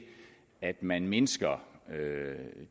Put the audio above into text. at man mindsker